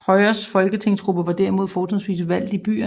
Højres folketingsgruppe var derimod fortrinsvis valgt i byerne